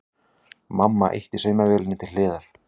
Mamma ýtti saumavélinni til hliðar.